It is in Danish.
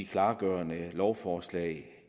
klargørende lovforslag